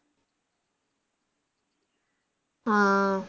ആ